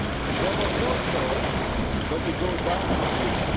There was no choice but to go down this